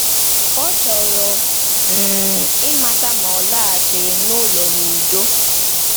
Ọ chọrọ um ịmata ma ọ laghachiri n’ụlọ n’udo.